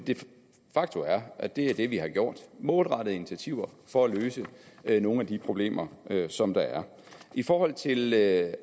faktum er at det er det vi har gjort målrettede initiativer for at løse nogle af de problemer som der er i forhold til at lave